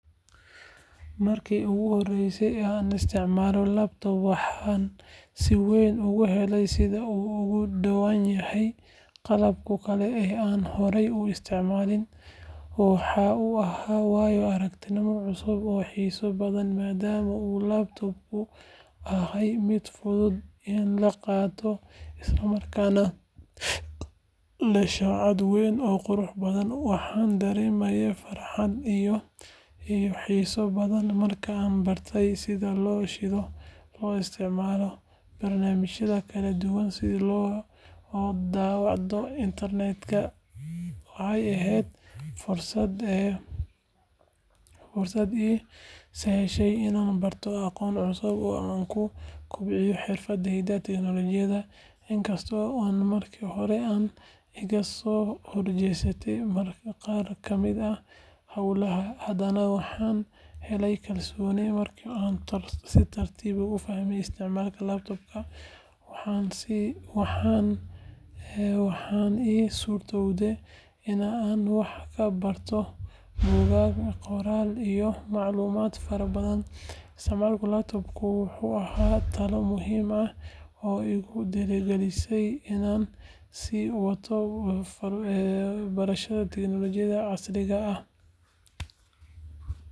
Markii ugu horeysay ee aan isticmaalay laptop waxaan si weyn uga helay sida uu uga duwan yahay qalabka kale ee aan horay u isticmaalay. Waxa uu ahaa waayo-aragnimo cusub oo xiiso badan maadaama uu laptop-ku ahaa mid fudud in la qaado isla markaana leh shaashad weyn oo qurux badan. Waxaan dareemay farxad iyo xiiso badan markaan bartay sida loo shido, loo isticmaalo barnaamijyada kala duwan iyo sida loo daalacdo internetka. Waxay ahayd fursad ii sahashay inaan barto aqoon cusub oo aan ku kobciyo xirfadaha tiknoolajiyadda. Inkasta oo markii hore ay iga soo horjeesteen qaar ka mid ah hawlaha, haddana waxaan helay kalsooni markii aan si tartiib ah u fahmay isticmaalka laptop-ka. Waxaa ii suurtoowday in aan wax ka barto buugaag, qoraallo iyo macluumaad fara badan. Isticmaalka laptop-ku wuxuu ahaa tallaabo muhiim ah oo igu dhiirrigelisay in aan sii wato barashada tiknoolajiyada casriga ah.